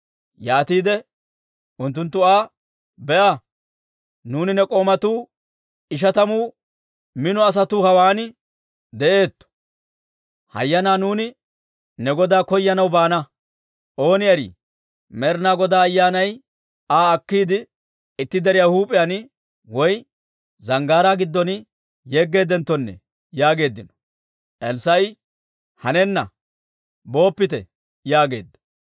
Yaatiide unttunttu Aa, «Be'a, nuuni ne k'oomatuu ishatamu mino asatuu hawaan de'eetto. Hayyanaa nuuni ne godaa koyanaw baana. Ooni erii, Med'ina Godaa Ayyaanay Aa akkiide, itti deriyaa huup'iyaan woy zanggaaraa giddon yeggeedenttonne» yaageeddino. Elssaa'i, «Hanenna, booppite!» yaageedda.